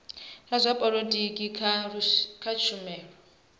la zwa polotiki kha tshumelo